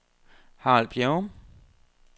Harald Bjerrum